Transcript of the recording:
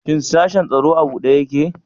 Shin sashin tsaro a buɗe ƴaƙe?